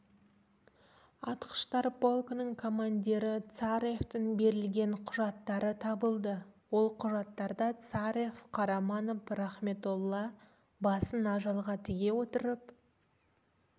атқыштар полкінің командирі царевтің берілген құжаттары табылды ол құжаттарда царев қараманов рахметолла басын ажалға тіге отырып